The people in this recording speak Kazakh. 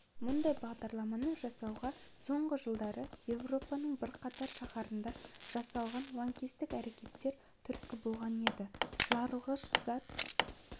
мұндай бағдарламаны жасауға соңғы жылдары еуропаның бірқатар шаһарында жасалған лаңкестік әрекеттер түрткі болған енді жарылғыш зат